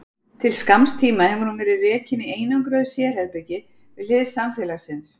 Til skamms tíma hefur hún verið rekin í einangruðu sérherbergi við hlið samfélagsins.